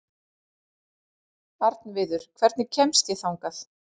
Arnviður, hvernig kemst ég þangað?